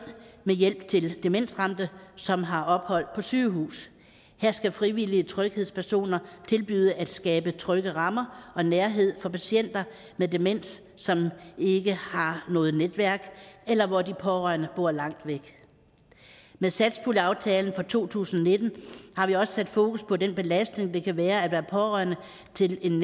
med hjælp til demensramte som har ophold på sygehus her skal frivillige tryghedspersoner tilbyde at skabe trygge rammer og nærhed for patienter med demens som ikke har noget netværk eller hvor de pårørende bor langt væk med satspuljeaftalen for to tusind og nitten har vi også sat fokus på den belastning det kan være at være pårørende til en